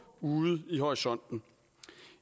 ude i horisonten